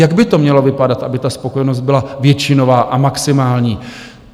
Jak by to mělo vypadat, aby ta spokojenost byla většinová a maximální?